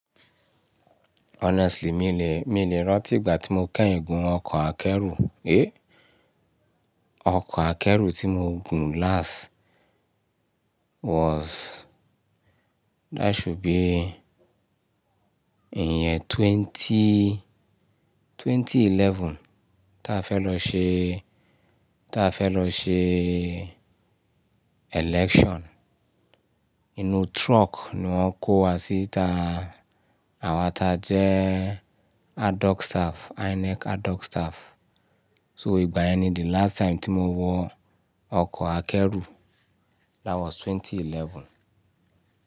Honestly, mi lè, mi lè rántí ìgbà tí mo kẹ́hìn gun ọkọ̀ akẹ́rù. Éh, ọkọ̀ akẹ́rù tí mo gùn last was, that should be ìyẹn twenty, ẹgbẹ̀rún méjì ó lé mọ́kànlá táa fẹ́ lọ ṣe, táa fẹ́ lọ ṣe election. Inú truck ni wọ́n kó wa sí ìta àwa ta jẹ́ ad-hoc staff, INEC ad-hoc staff. So ìgbà yẹn ni the last time tí mo wọ ọkọ̀ akẹ́rù. That was twenty eleven.